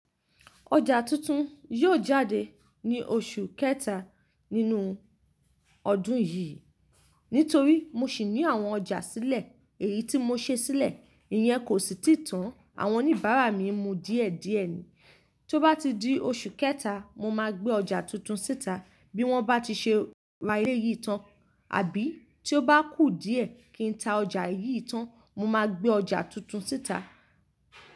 Ọjà tuntun yóò jáde ní oṣù kẹta nínú ọdún yìí. Nítorí mo ṣì ní àwọn ọjà sílẹ̀ èyí tí mo ṣe sílẹ̀, ìyẹn kò sì tíì tán. Àwọn oníbàárà mi ń mu díẹ̀díẹ̀ ni. Tó bá di oṣù kẹ́ta, mo máa gbé ọjà tuntun síta bí wọ́n bá ti ṣe ra eléyìí tán àbí tí ó bá kù díẹ̀ kí n ta ọjà yìí tán. Mo máa gbé ọjà tuntun síta.